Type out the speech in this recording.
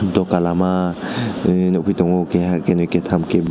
duka lama nugui tongo kahe kenai ke Tam--